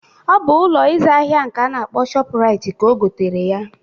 Ọ bụ Ụlọ ịzụ ahịa nke a na-akpọ shọpu Rait ka ogotere ya.